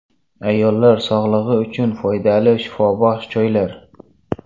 Ayollar sog‘lig‘i uchun foydali shifobaxsh choylar.